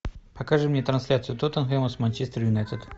покажи мне трансляцию тоттенхэма с манчестер юнайтед